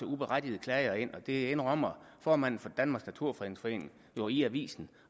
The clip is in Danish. uberettigede klager ind og det indrømmer formanden for danmarks naturfredningsforening jo i avisen